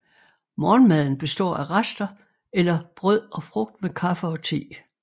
Morgenmaden består af rester eller brød og frugt med kaffe og te